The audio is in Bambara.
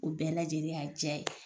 O bɛɛ lajɛlen y'a diya ye.